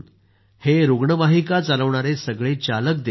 हे रुग्णवाहिका चालवणारे सगळे चालक देखील